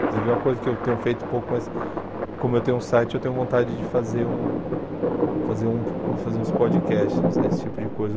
Inclusive é uma coisa que eu tenho feito pouco, mas como eu tenho um site, eu tenho vontade de fazer um fazer um fazer uns podcasts desse tipo de coisa.